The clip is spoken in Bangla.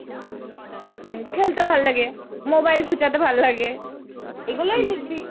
হম খেলতে ভালো লাগে, mobile খোঁচাতে ভাল্লাগে। এগুলোই লিখবি।